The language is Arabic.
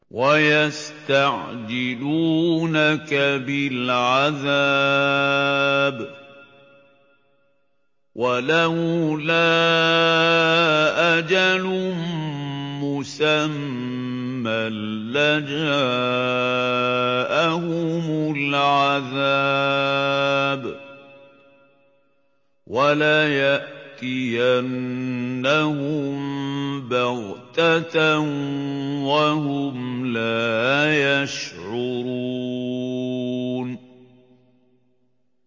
وَيَسْتَعْجِلُونَكَ بِالْعَذَابِ ۚ وَلَوْلَا أَجَلٌ مُّسَمًّى لَّجَاءَهُمُ الْعَذَابُ وَلَيَأْتِيَنَّهُم بَغْتَةً وَهُمْ لَا يَشْعُرُونَ